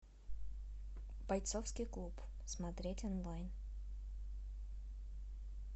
бойцовский клуб смотреть онлайн